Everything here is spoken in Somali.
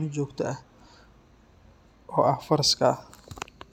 ee jogto ah oo ah faraska.